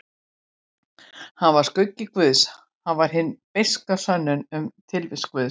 Hann var skuggi guðs, hann var hin beiska sönnun um tilvist guðs.